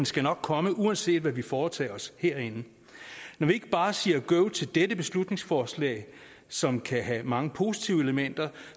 skal nok komme uanset hvad vi foretager os herinde når vi ikke bare siger go til dette beslutningsforslag som kan have mange positive elementer